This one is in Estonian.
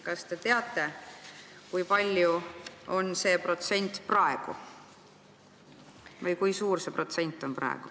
Kas te teate, kui suur on see protsent praegu?